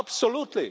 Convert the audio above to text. absolutely